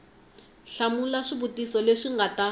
hlamula swivutiso leswi nga ta